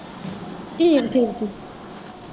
ਠੀਕ ਠੀਕ ਠੀਕ।